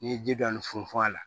N'i ye ji dɔɔni funfun a la